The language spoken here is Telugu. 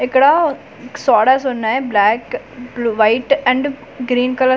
ఇక్కడా సోడాస్ వున్నాయి బ్లాక్ బ్ల్ white and green colour sodas .